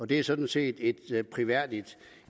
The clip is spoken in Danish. det er sådan set et prisværdigt